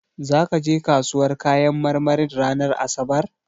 Zaka je kasuwar kayan marmarin ranar asabar?